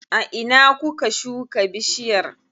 A ina kuka shuka bishiyar?